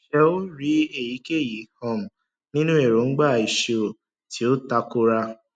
ṣé o rí èyíkéyìí um nínú èróńgbà ìṣirò tí ó tako ra